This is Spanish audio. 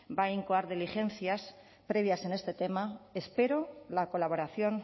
va a incoar diligencias previas en este tema espero la colaboración